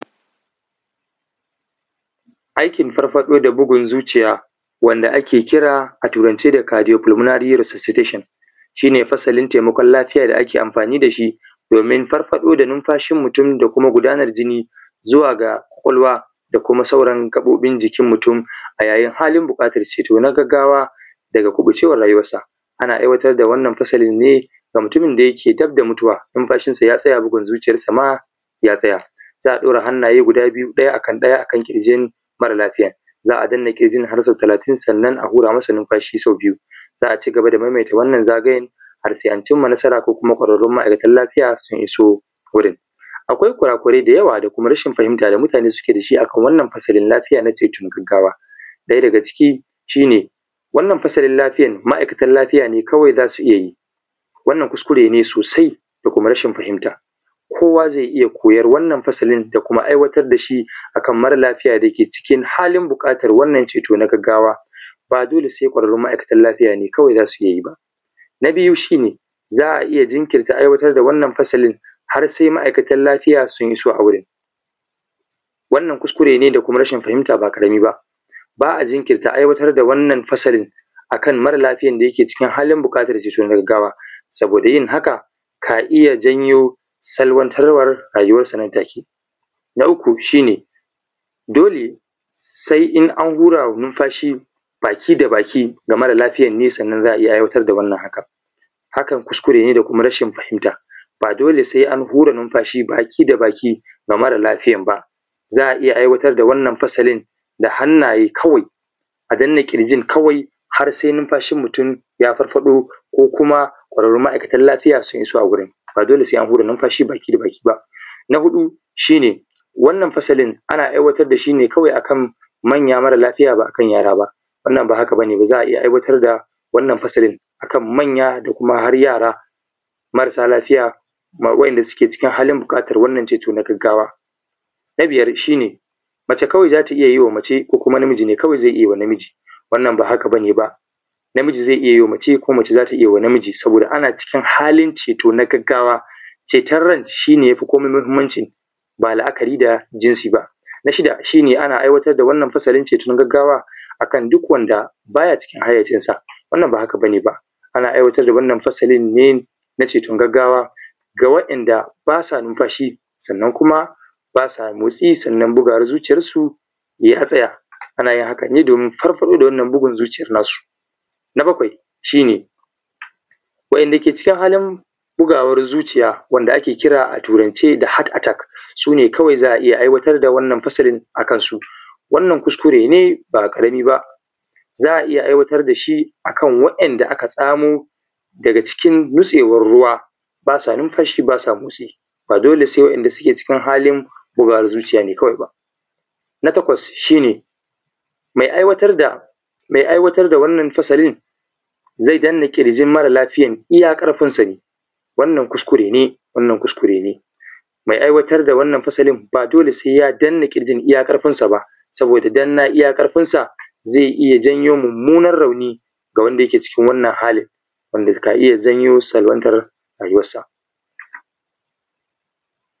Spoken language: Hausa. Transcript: Aikin farfaɗo da bugun zuciya wanda ake kira a turance cardiofunaly resourcitation shi ne fasalin taimakon lafiya da ake amfani da shi domin farfaɗo da numfashin mutum da kuma gudanar jini zuwa ga ƙwaƙwalwa da kuma sauran gaɓoɓin jikin mutum a yayin da yake halin buƙatar ceto na gaggawa daga kuɓucewar rayuwansa. Ana aiwatar da wannan fasalin ne ga mutumin da yake daf da mutuwa, nunfashinsa ya tsaya, bugun zuciyansa ma ya tsaya. Za a ɗaura hannaye guda biyu ɗaya a kan ƙirjin mara lafiyan za a danna har sau talatin sannan a hura masa numfashi sau biyu. Za a cigaba da maimata wannan zagayen sai an cimma nasara ko kuma ƙwararrun ma’aikatan lafiya sun iso gurin. Akwai kura kurai da yawa da kuma rashin fahimta da mutane suke da shi a kan wannan fasalin lafiya na taimakon gaggawa. Ɗaya daga ciki shi ne wannan fasalin lafiyar ma’aikatan lafiya kawai za su iya yi wannan kuskure ne sosai da kuma rashin fahimta kowa zai iya koyan wannan fasalin da kuma aiwatar da shi akan mara lafiya da yake cikin halin buƙatar wannan ceto na gaggawa. Ba dole sai ƙwararrun ma’aikatan lafiya ne kawai za su iya yi ba. Na biyu shi ne za a iya jirkinta aiwatar da wannan fasalin har sai ma’aikatan lafiya sun iso a wurin. Wannan kuskure ne da kuma rashin fahimta ba ƙarami ba. Ba a jinkirta aiwatar da wannan fasalin akan mara lafiyan da yake cikin halin buƙata ceton gaggawa saboda yin haka ka iya janyo salwantar war rayuwansa nan take. Na uku shine dole sai an hura wa numfashi baki da baki ga mara lafiyan ne sannan za a iya aiwatar da wannan haka. Hakan kuskure ne da kuma rashin fahimta. Ba dole sai an hure numfashi baki da baki ga mara lafiyan ba za a iya aiwatar da wannan fasalin da hannaye kawai a danna ƙirjin kawai har sai ya farfaɗo ko kuma ƙwararrun maaikatan lafiya sun iso wurin, ba dole sai an hura numfashi baki da baki ba. Na huɗu shi ne wannan fasalin ana aiwatar da shi ne kawai akan manya mara lafiya ba a kan yara ba. Wannan ba haka ba ne ba za a aiwatar da wannan fasalin akan manya da kuma har yara marasa lafiya ba wai wanda suke cikin halin bukatar ceto na gaggawa. Na biyar shi ne mace kawai za ta iya wa mace, ko kuma namiji ne kawai zai iya wa namiji. Wannan ba haka bane namiji zai iya wa mace, ko mace za ta iya wa namiji saboda ana cikin halin ceto na gaggawa, ceton ran shi ne wanda yafi komai muhimmanci ba la'akari da jinsi ba. Na shida shi ne ana aiwatar da wannan fasalin ceto na gaggawa a kan duk wanda baya cikin hayyacinsa ba haka bane ba. Ana aiwatar da wannan fasalin na ceton gaggawa ga wa'inda ba sa nunfashi, sannan kuma ba sa motsi sannan bugawan zuciyansu ya tsaya. Ana yin haka ne domin farfaɗo da wannan bugun zuciyan na su. Na bakwai shi ne wa'inda ke cikin halin bugawan zuciya wanda ake kira a turance da heart attack su ne kawai za a iya aiwatar da fasalin a kan su. Wannan kuskure ne ba ƙarami ba. Za a iya aiwatar da shi a kan wa'inda akan wa'inda aka samo daga cikin nitsewan ruwa ba sa numfashi ba sa motsi ma dole wa'inda suke halin bugawan zuciya kawai ba. Na takwas shi ne mai aiwatar da wannan fasalin zai danna ƙirjin mara lafiya iya ƙarfinsa ne. Wannan kuskure ne mai aiwatar da fasalin ba dole sai ya danna ƙirjin iya ƙarfin sa ba saboda danna iya ƙarfin sa zai iya janyo rauni ga wanda ke cikin wannan hali wanda ka iya janyo salwantar rayuwan sa.